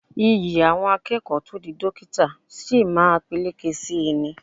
Iyì àwọn akẹ́kọ̀ọ́ tó di dókítà sí máa peléke sí í ni